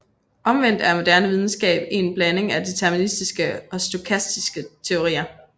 Omvendt er moderne videnskab en blanding af deterministiske og stokastiske teorier